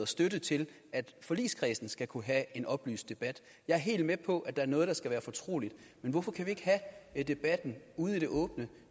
støtte til at forligskredsen skal kunne have en oplyst debat jeg er helt med på at der er noget der skal være fortroligt men hvorfor kan vi ikke have debatten ude i det åbne